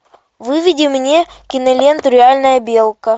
выведи мне киноленту реальная белка